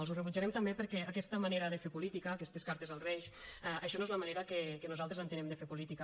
els ho rebutjarem també perquè aquesta manera de fer política aquestes cartes als reis això no és la manera que nosaltres entenem de fer política